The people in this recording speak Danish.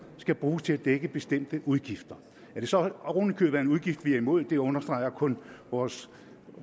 skal bruges til at dække bestemte udgifter at det så oven i købet er en udgift vi er imod understreger kun vores